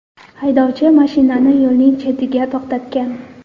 Haydovchi mashinani yo‘lning chetida to‘xtatgan.